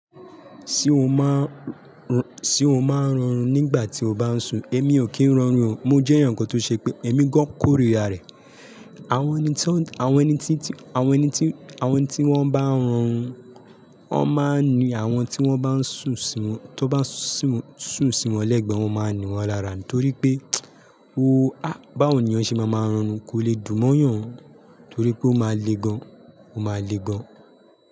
Ṣé o ma ń rọrùn nígbà tí o bá ń sùn? Èmi ò kí ń rọrùn o, mo jẹ́ èèyàn kan tó ṣe pé èmi gán kórira rẹ̀. Àwọn ẹni tí wọ́n bá ń họrun, wọ́n máa ń ni àwọn tí wọ́n bá ń sùn sí, tó bá sùn sí wọn lẹ́gbẹ̀ẹ́, wọ́n máa ń ni wọ́n lára ni torí pé, ooo á, báwo nì yàn ṣe ma ma họrun kò lè dùn mọ́yàn torí pé ó máa le gan, ó máa le gan.